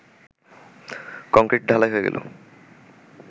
কংক্রিট-ঢালাই হয়ে গেল